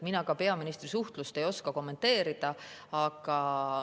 Mina ka peaministri suhtlust ei oska kommenteerida.